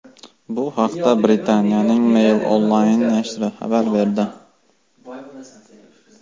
Bu haqda Britaniyaning Mail Online nashri xabar berdi .